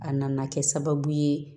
A nana kɛ sababu ye